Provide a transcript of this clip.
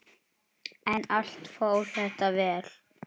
En allt fór þetta vel.